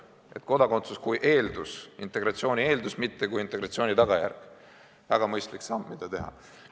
See oleks kodakondsus kui integratsiooni eeldus, mitte kui integratsiooni tagajärg – väga mõistlik samm, mida teha.